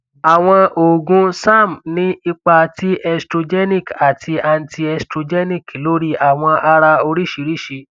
àwọn oògùn serm ní ipa ti estrogenic àti antiestrogenic lórí àwọn ara oríṣiríṣi